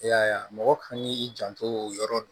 E y'a ye a mɔgɔ kan k'i janto o yɔrɔ